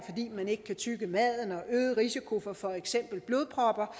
man ikke kan tygge maden og øget risiko for for eksempel blodpropper